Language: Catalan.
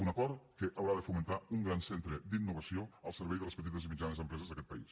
un acord que haurà de fomentar un gran centre d’innovació al servei de les petites i mitjanes empreses d’aquest país